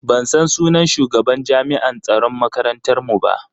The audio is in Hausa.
Ban san sunan shugaban jami'an tsaron makarantar mu ba.